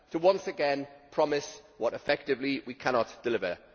To once again promise what effectively we cannot deliver.